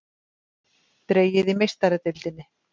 Dregið í Meistaradeildinni